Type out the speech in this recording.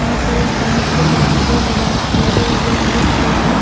यहां पे कांच के दरवाजे लगाए लगे हुए दिख रहे हैं।